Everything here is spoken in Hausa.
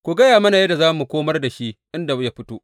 Ku gaya mana yadda za mu komar da shi inda ya fito.